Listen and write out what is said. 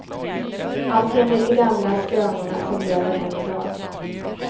Allt enligt de gamla skrönorna som lever än i dag.